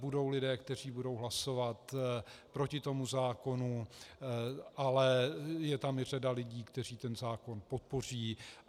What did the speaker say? Budou lidé, kteří budou hlasovat proti tomu zákonu, ale je tam i řada lidí, kteří ten zákon podpoří.